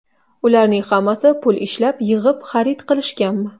Ularning hammasi pul ishlab, yig‘ib, xarid qilishganmi?